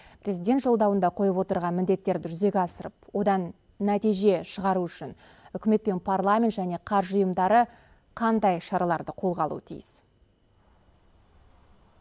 президент жолдауында қойып отырған міндеттерді жүзеге асырып одан нәтиже шығару үшін үкімет пен парламент және қаржы ұйымдары қандай шараларды қолға алуы тиіс